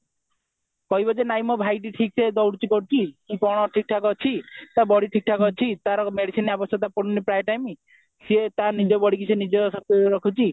କହିବ ଯେ ନାଇଁ ମୋ ଭାଇଟି ଠିକ ସେ ଦଉଡୁଛି କରୁଛି କି କଣ ଠିକଠାକ ଅଛି ତାର body ଠିକ ଠାକ ଅଛି ତାର medicine ଆବଶ୍ୟକତା ପଡୁନହିଁ ପ୍ରାୟ time ସେ ତା ନିଜ bodyକୁ ନିଜେ ସବୁ